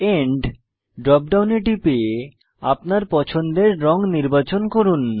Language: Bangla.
এন্ড ড্রপ ডাউনে টিপে আপনার পছন্দের রঙ নির্বাচন করুন